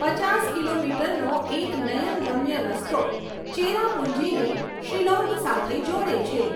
પચાસ કિલોમીટરનો એક નયનરમ્ય રસ્તો ચેરાપુંજીને શિલોંગ સાથે જોડે છે.